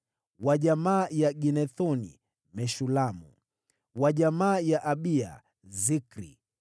wa jamaa ya Ido, Zekaria; wa jamaa ya Ginethoni, Meshulamu;